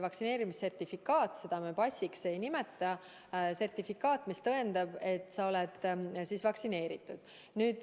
Vaktsineerimissertifikaat – seda me passiks ei nimeta – tõendab, et sa oled vaktsineeritud.